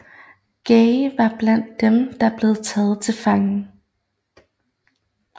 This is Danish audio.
Guy var blandt dem der blev taget til fange